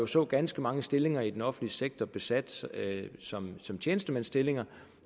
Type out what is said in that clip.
så ganske mange stillinger i den offentlige sektor besat som som tjenestemandsstillinger